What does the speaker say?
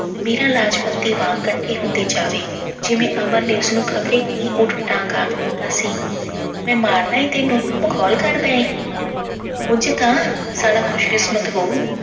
ਮੀਰਾ ਲਾਜਵੰਤੀ ਵਾਂਗ ਕੱਠੀ ਹੁੰਦੀ ਜਾਵੇ, ਜਿਵੇਂ ਅਮਰ ਨੇ ਉਸਨੂੰ ਖਬਰੇ ਕੀ ਊਟ-ਪਟਾਂਗ ਆਖ ਦਿੱਤਾ ਸੀ। ਮੈਂ ਮਾਰਨਾ ਏ ਤੈਨੂੰ, ਮਖੌਲ ਕਰਦਾ ਏਂ। ਉਂਝ ਤਾਂ ਸਾਲਾ ਖੁਸ਼ਕਿਸਮਤ ਹੋਊ।